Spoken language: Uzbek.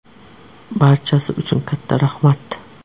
Barchasi uchun katta rahmat!